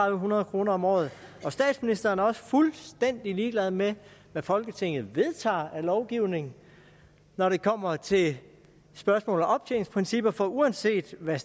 hundrede kroner om året og statsministeren er også fuldstændig ligeglad med hvad folketinget vedtager af lovgivning når det kommer til spørgsmålet om optjeningsprincipper for uanset hvad